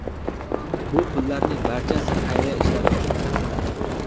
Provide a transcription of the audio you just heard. Bu pullarning barchasi xayriya ishlari uchun sarflanadi.